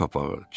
Şipəq.